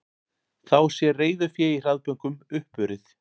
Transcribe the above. Þá sé reiðufé í hraðbönkum uppurið